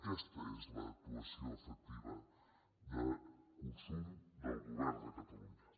aquesta és l’actuació efectiva de consum del govern de catalunya